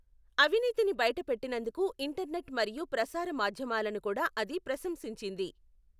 అవినీతిని బయటపెట్టినందుకు ఇంటర్నెట్ మరియు ప్రసార మాధ్యమాలను కూడా అది ప్రశంసించింది.